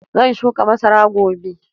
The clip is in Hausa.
Zan shuka masara gobe.